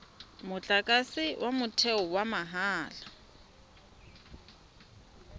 motlakase wa motheo wa mahala